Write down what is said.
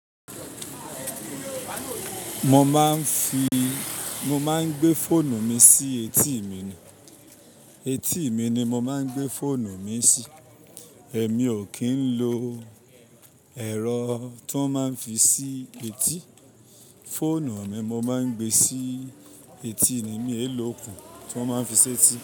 Mo máa ń fi, mo máa ń gbé fóònù mi sí etí mi ni, etí mi ni mo máa ń gbé fóònù mi sí. Èmi ò kí ń lo èrọ tó máa ń fi sí etí, fóònù mi mo máa ń gbé sí etí ni, mi è ló okùn tí wọ́n máa ń fi sí etí.